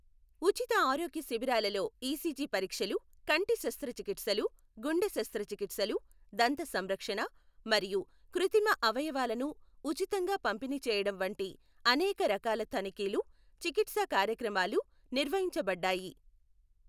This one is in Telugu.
ఉచిత ఆరోగ్య శిబిరాలలో ఈసీజీ పరీక్షలు, కంటి శస్త్రచికిత్సలు, గుండె శస్త్రచికిత్సలు, దంత సంరక్షణ, మరియు కృత్రిమ అవయవాలను ఉచితంగా పంపిణీ చేయడం వంటి అనేక రకాల తనిఖీలు, చికిత్సా కార్యక్రమాలు నిర్వహించబడ్డాయి.